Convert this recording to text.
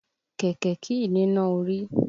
Kẹ̀kẹ́ kìí níná orí.